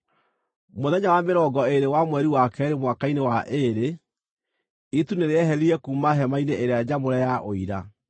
Mũthenya wa mĩrongo ĩĩrĩ wa mweri wa keerĩ mwaka-inĩ wa ĩĩrĩ, itu nĩrĩeherire kuuma hema-inĩ ĩrĩa nyamũre ya Ũira.